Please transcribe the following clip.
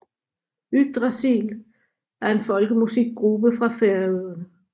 Yggdrasil er en folkemusikgruppe fra Færøerne